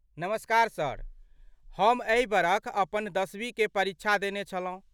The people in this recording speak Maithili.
नमस्कार सर, हम एहि बरख अपन दशवी के परीक्षा देने छलहुँ।